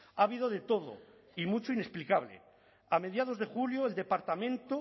ha habido de todo y mucho inexplicable a mediados de julio el departamento